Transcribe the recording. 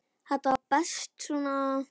Þetta var best svona.